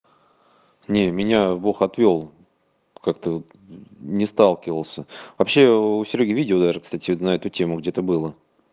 не меня бог отвёл как-то вот не сталкивался вообще у серёги видео даже кстати вот на эту тему где-то было